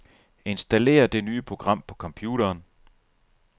Installér det nye program på computeren.